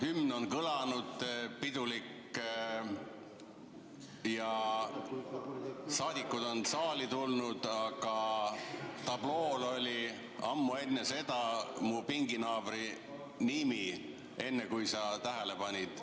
Hümn on kõlanud, pidulik, ja saadikud on saali tulnud, aga tablool oli ammu enne seda mu pinginaabri nimi, kui sa tähele panid.